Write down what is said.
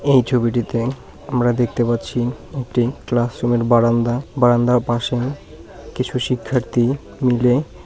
এই ছবিটিতে আমরা দেখতে পাচ্ছি একটি ক্লাসরুমের বারান্দা বারান্দার পাশে কিছু শিক্ষার্থী মিলে--